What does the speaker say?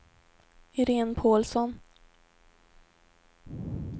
Irene Paulsson